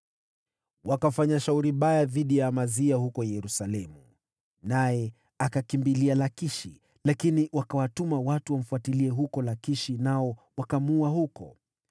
Wakafanya shauri baya dhidi ya Amazia huko Yerusalemu, naye akakimbilia Lakishi, lakini wakawatuma watu wamfuatilie huko Lakishi, nao wakamuulia huko.